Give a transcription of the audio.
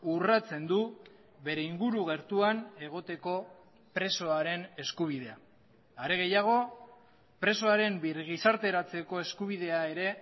urratzen du bere inguru gertuan egoteko presoaren eskubidea are gehiago presoaren birgizarteratzeko eskubidea ere